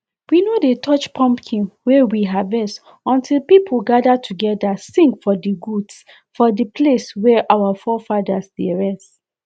we no dey touch pumpkin wey we harvest until people gather together sing for di goods for the place wey our forefathers dey rest